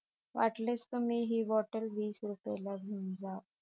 wattless तर तुम्ही हि बॉटल वीस रुपये ला घेऊन जा